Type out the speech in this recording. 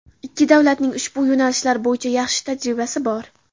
Ikki davlatning ushbu yo‘nalishlar bo‘yicha yaxshi tajribasi bor.